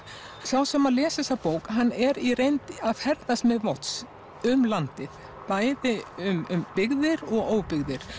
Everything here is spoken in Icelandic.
sá sem les þessa bók er í reynd að ferðast með Watts um landið bæði um byggðir og óbyggðir